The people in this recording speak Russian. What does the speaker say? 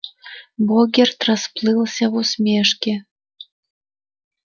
богерт расплылся в усмешке